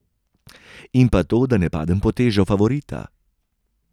In pa to, da ne padem pod težo favorita.